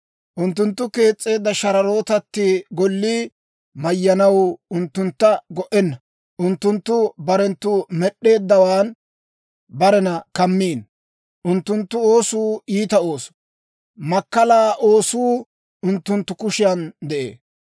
Unttunttu kees's'eedda shararootatti gollii mayyanaw unttuntta go"enna. Unttunttu barenttu med'd'eeddawan barena kammikkino. Unttunttu oosuu iita ooso; makkalaa oosuu unttunttu kushiyan de'ee.